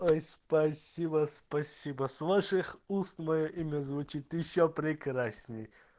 ой спасибо спасибо с ваших уст моё имя звучит ещё прекрасней